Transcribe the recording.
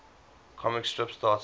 comic strips started